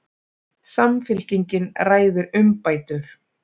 Samfylkingin ræðir umbætur